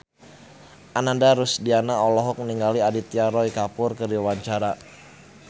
Ananda Rusdiana olohok ningali Aditya Roy Kapoor keur diwawancara